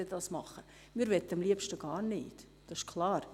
Wir möchten es am liebsten gar nicht, das ist klar.